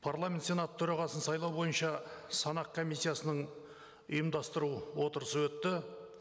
парламент сенаты төрағасын сайлау бойынша санақ комиссиясының ұйымдастыру отырысы өтті